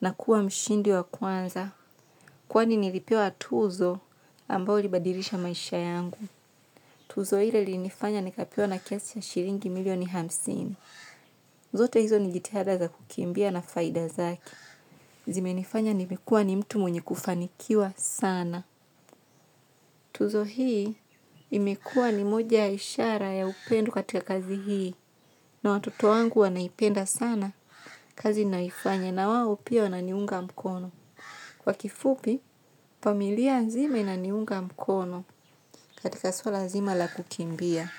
na kuwa mshindi wa kwanza. Kwani nilipewa tuzo ambao ilibadilisha maisha yangu. Tuzo hile linifanya nikapewa na kiasi ya shilingi milioni hamsini. Zote hizo nijitiada za kukimbia na faida zake. Zimenifanya nimekuwa ni mtu mwenye kufanikiwa sana. Tuzo hii imekuwa ni moja ya ishara ya upendo katika kazi hii na watoto wangu wanaipenda sana kazi naifanya na wawo pia wananiunga mkono. Kwa kifupi, familia zima inaniunga mkono katika sula zima la kukimbia.